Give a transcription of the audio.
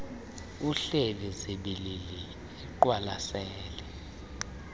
ehleli zibilili eqwalasele